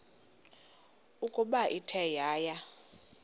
ukuba ithe yaya